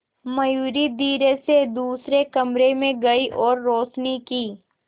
मयूरी धीरे से दूसरे कमरे में गई और रोशनी की